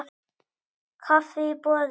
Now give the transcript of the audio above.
Kaffi í boði.